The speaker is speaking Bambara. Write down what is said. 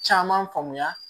Caman faamuya